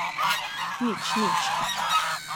Nič, nič.